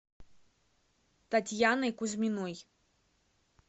татьяной кузьминой